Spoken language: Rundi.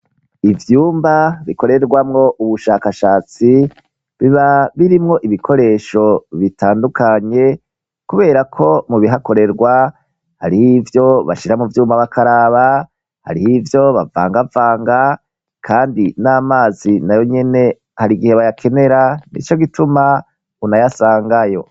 ivyumba bikorerwamwo ubushakashatsi biba birimwo ibikoresho bitandukanye kubera ko mu bihakorerwa hariho ivyo bashira mu vyumba bakaraba hariho ivyo bavangavanga kandi n'amazi nayo nyene hari igihe bayakenera nico gituma unayasangayo